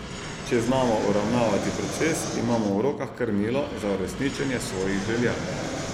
Če znamo uravnavati proces, imamo v rokah krmilo za uresničenje svojih želja.